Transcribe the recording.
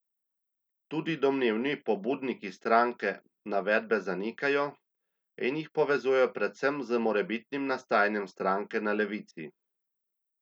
Tudi domnevni pobudniki stranke navedbe zanikajo in jih povezujejo predvsem z morebitnim nastajanjem stranke na levici.